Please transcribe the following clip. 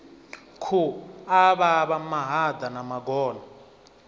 khu avhavha mahaḓa na magona